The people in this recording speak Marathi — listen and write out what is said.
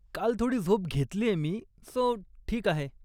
काल थोडी झोप घेतलीये मी, सो ठीक आहे.